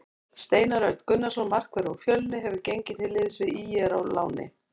Steinar Örn Gunnarsson markvörður úr Fjölni hefur gengið til liðs við ÍR á láni.